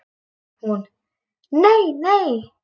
Hún: Nei nei.